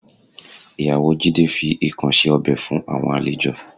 Ìyàwó Jídé fi ikàn ṣe ọbẹ̀ fún àwọn àlejò